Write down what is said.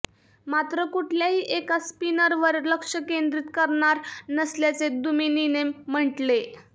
मात्र कुठल्याही एका स्पिनरवर लक्ष केंद्रित करणार नसल्याचे दुमिनीने म्हटले